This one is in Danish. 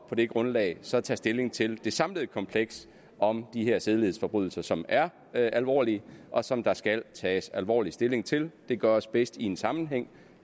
på det grundlag så tage stilling til det samlede kompleks om de her sædelighedsforbrydelser som er er alvorlige og som der skal tages alvorlig stilling til det gøres bedst i en sammenhæng